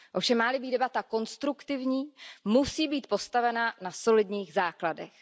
Ovšem má li být debata konstruktivní, musí být postavena na solidních základech.